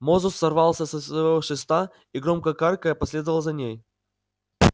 мозус сорвался со своего шеста и громко каркая последовал за ней